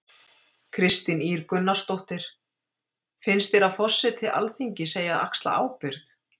Kristín Ýr Gunnarsdóttir: Finns þér að forseti Alþingis eigi að axla ábyrgð?